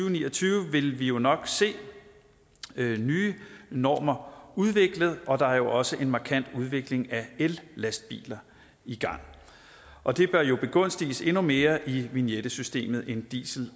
og ni og tyve vil vi jo nok se nye normer udviklet og der er også en markant udvikling af ellastbiler i gang og det bør jo begunstiges endnu mere i vignette systemet end diesel